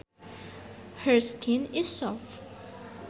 Her skin is soft